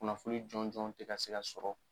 Kunnafoni jɔn jɔn tɛ ka se ka sɔrɔ.